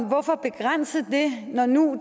hvorfor begrænse det når nu